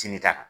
Sini ta